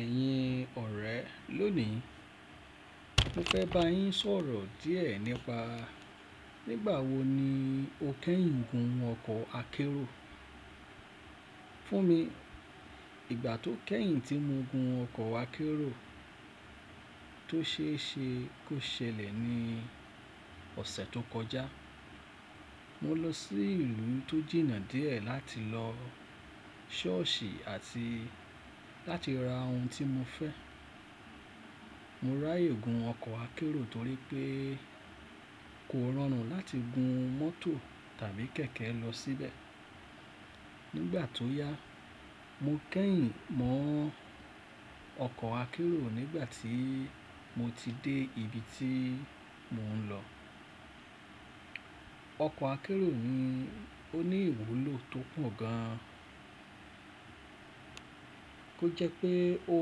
Ẹ̀yin ọ̀rẹ́ lónìí, mo fẹ́ bá yín sọ̀rọ̀ díẹ̀ nípa nígbà wo ni o kẹ́yìn gun ọkọ̀ akérò. Fún mi, ìgbà tó kẹ́yìn tí mo gun ọkọ̀ akérò tó ṣe é ṣe kó ṣẹlẹ̀ ní ọ̀sẹ̀ tó kọjá. Mo lọ sí ìlú tó jìnnà díẹ̀ láti lọ ṣọ́ọ̀ṣì àti láti ra ohun tí mo fẹ́. Mo ráyè gun ọkọ̀ akérò torí pé kò rọrùn láti gun mọ́tò tàbí kẹ̀kẹ́ lọ síbẹ̀. Nígbà tó yá, mo kẹ́yìn mọ ọkọ̀ akérò nígbà tí mo ti dé ibi tí mò ń lọ. Ọkọ̀ akérò ni ó ní ìwúlò tó pọ̀ gan, tó jẹ́ pé ó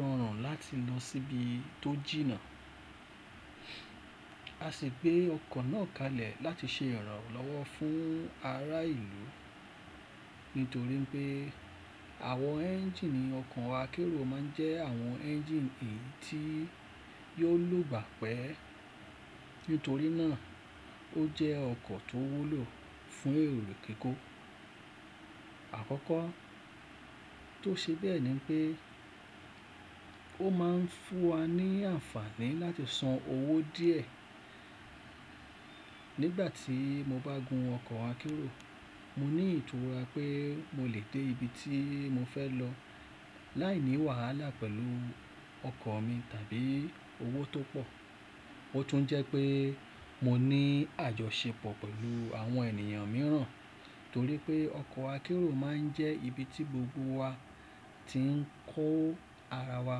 rọrùn láti lọ síbi tó jìnnà. A sì gbé ọkọ̀ náà kalẹ̀ láti ṣe ìrànlọ́wọ́ fún ará ìlú, nítorí pé àwọn ẹ́ńjíìnì ọkọ̀ akérò máa ń jẹ́ àwọn ẹ́ńjíìnì èyí tí yóò lògbà pẹ́. Nítorí náà ó jẹ ọkọ̀ tó wúlò fún èrò kíkó. Àkọ́kọ́ tó ṣe bẹ́ẹ̀ ni pé ó máa ń fún wa ní àǹfààní láti san owó díẹ̀. Nígbà tí mo bá gun ọkọ̀ akérò, mo ní ìtura pé mo lè dé ibi tí mo fẹ́ lọ láìní wàhálà pẹ̀lú ọkọ̀ mi tàbí owó tó pọ̀. Ó tún jẹ́ pé mo ní àjọṣepọ̀ pẹ̀lú àwọn ènìyàn mìíràn, torí pé ọkọ̀ akérò máa ń jẹ́ ibi tí gbogbo wa ti ń kó ara wa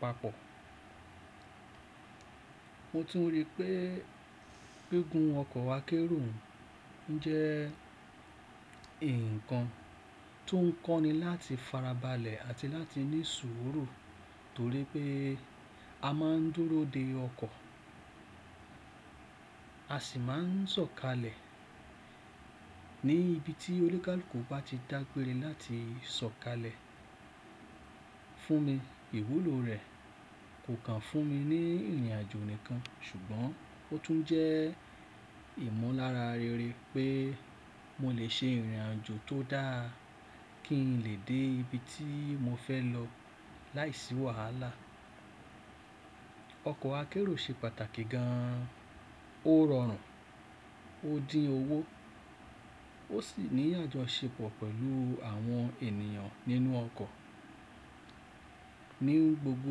papọ̀. Mo tún rí pé gígùn ọkọ̀ akérò ń jẹ́ ǹkan tó ń kọ́ni láti fara balẹ̀ àti láti ní sùúrù torí pé a máa ń dúró de ọkọ̀, a sì máa ń sọ̀kalẹ̀ ní ibi tí olúkalùkù bá ti dágbére láti sọ̀kalẹ̀. Fún mi, ìwúlò rẹ̀ kò kàn fún mi ní ìrìnàjò nìkan, ṣùgbọ́n ó tún jẹ́ ìmọ̀lára rere pé mo lè ṣe ìrìnàjò tó dáa kí n lè dé ibi tí mo fẹ́ lọ láìsí wàhálà. Ọkọ̀ akérò ṣe pàtàkì gan, ó rọrùn, ó dín owó, ó sì ní àjọṣepọ̀ pẹ̀lú àwọn ènìyàn nínú ọkọ̀. Ní gbogbo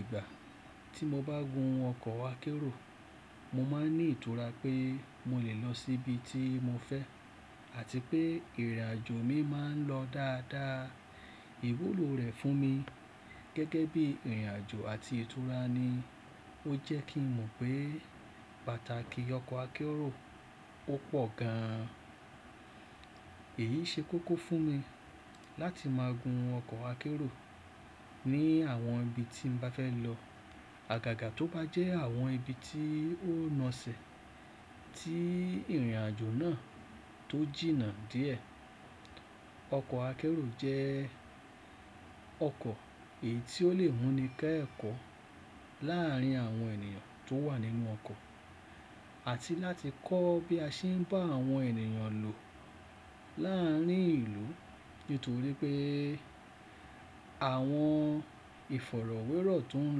ìgbà tí mo bá gun ọkọ̀ akérò, mo máa ń ní ìtura pé mo lè lọ síbi tí mo fẹ́ àti pé ìrìnàjò mi máa ń lọ dáadáa. Ìwúlò rẹ̀ fún mi gẹ́gẹ́ bí ìrìnàjò àti ìtura ni ó jẹ́ kí n mọ̀ pé pàtàkì ọkọ̀ akérò ó pọ̀ gan. Èyí ṣe kókó fún mi láti máa gun ọkọ̀ akérò ní àwọn ibi tí n bá fẹ́ lọ, àgàgà tó bá jẹ́ àwọn ibi tí ó na sẹ̀ tí ìrìnàjò náà tó jìnnà díẹ̀. Ọkọ̀ akérò jẹ́ ọkọ̀ èyí tí ó lè múni kẹ́ ẹ̀kọ́ láàárín àwọn ènìyàn tó wà nínú ọkọ̀, àti láti kọ́ bí a ṣe ń bá àwọn ènìyàn lò láàárín ìlú. Nítorí pé àwọn ìfọ̀rọ̀wérọ̀ tó ń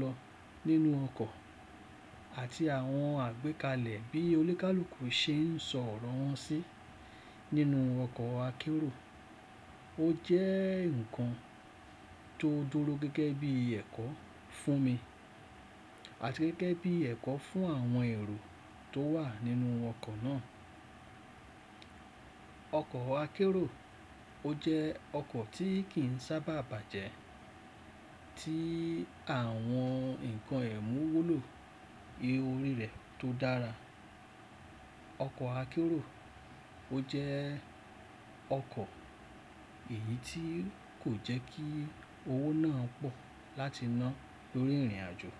lọ nínú ọkọ̀ àti àwọn àgbékalẹ̀ bí olúkalùkù ṣe ń sọ̀rọ̀ wọn sí nínú ọkọ̀ akérò, ó jẹ́ ǹkan tó dúró gẹ́gẹ́ bí ẹ̀kọ́ fún mi, àti gẹ́gẹ́ bí ẹ̀kọ́ fún àwọn èrò tó wà nínú ọkọ̀ náà. Ọkọ̀ akérò ó jẹ́ ọkọ̀ tí kì í sábà bàjẹ́, tí àwọn ǹkan ẹ̀ ń wúlò, iye orí rẹ̀ tó dára. Ọkọ̀ akérò ó jẹ́ ọkọ̀ èyí tí kò jẹ́ kí owó náà pọ̀ láti ná lórí ìrìnàjò.